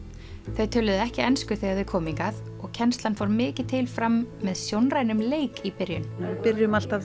þau töluðu ekki ensku þegar þau komu hingað og kennslan fór mikið til fram með sjónrænum leik í byrjun við byrjum alltaf